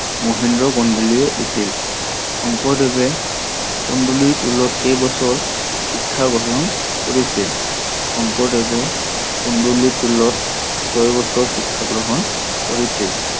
মহেন্দ্ৰ কন্দলীয়ে দিছিল। শংকৰদেৱে কন্দলীৰ টোলত কেই বছৰ শিক্ষা গ্ৰহন কৰিছিল? শংকৰদেৱে কন্দলীৰ টোলত ছয় বছৰ শিক্ষা গ্ৰহন কৰিছিল।